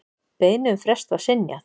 Beiðni um frest var synjað.